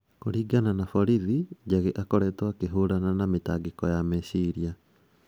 Kũringana na borithi, Jage akoretwo akĩhũrana na mĩtangĩko ya meciria.